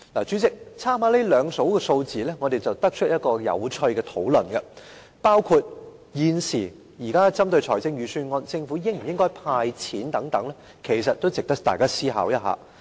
主席，參考這兩組數字後，我們得出一個有趣的討論，包括就現時有關財政預算案中政府應否派錢等問題，其實也值得大家思考一下。